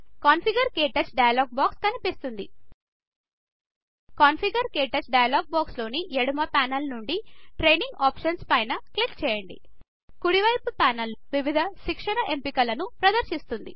configure - క్టచ్ dialog box కనిపిస్తుంది configure - క్టచ్ డైలాగ్ బాక్స్ లోని ఎడుమ ప్యానల్ నుండి ట్రైనింగ్ ఆప్షన్స్ పై క్లిక్ చేయండి కుడివైపు ప్యానల్ వివిధ శిక్షణ ఎంపికలను ప్రదర్శిస్తుంది